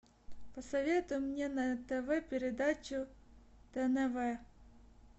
посоветуй мне на тв передачу тнв